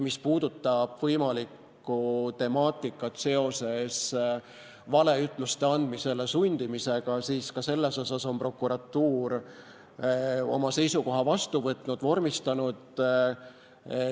Mis puudutab võimalikku temaatikat seoses valeütluste andmisele sundimisega, siis ka selle kohta on prokuratuur oma seisukoha vastu võtnud ja vormistanud.